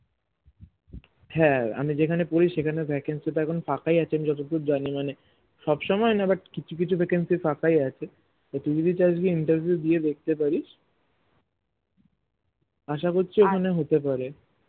হ্যাঁ আমি যেখানে পড়ি সেখানে vacancy তো এখন ফাঁকাই আছে আমি যতদূর জানি মানে সবসময় না but কিছু কিছু vacancy ফাঁকাই আছে তো তুই যদি চাস তুই interview দিয়ে দেখতেই পারিস আশা করছি ওখানে হতে পারে